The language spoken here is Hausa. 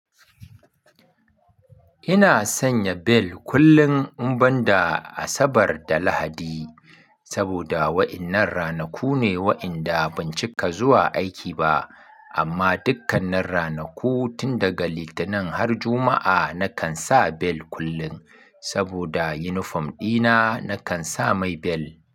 Ina sanya bel kullum in banda Asabar da Lahadi, saboda wa'innan ranaku ne wa'inda ban cika zuwa aiki ba. Amma dukkanin ranaku tin daga Litinin har Juma'a na kan sa bel kullum, saboda uniform ɗina na kan sa mai bel.